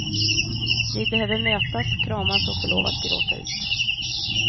Vi behöver mötas, kramas och få lov att gråta ut.